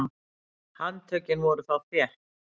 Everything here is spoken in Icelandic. Handtökin voru þá þétt.